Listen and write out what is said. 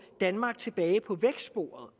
danmark tilbage på vækstsporet